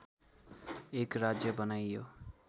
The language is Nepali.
एक राज्य बनाइयो